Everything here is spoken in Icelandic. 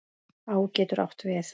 Á getur átt við